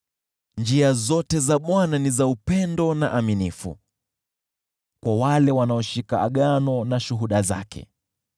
Njia zote za Bwana ni za upendo na uaminifu kwa wale wanaoshika shuhuda za agano lake.